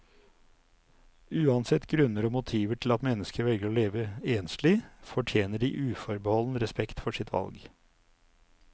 Uansett grunner og motiver til at mennesker velger å leve enslig, fortjener de uforbeholden respekt for sitt valg.